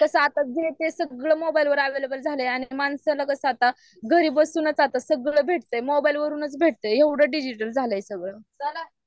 आणि कसं आता जे ते सगळं मोबाईल वर अव्हेलेबल झालंय आणि माणसं लगेच आत्ता घरी बसूनच आता सगळ भेटतय मोबाईल वरूनच भेट्तय एवढं डिजिटल झालंय सगळं,